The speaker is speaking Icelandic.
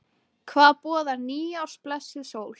Hvað boðar nýárs blessuð sól?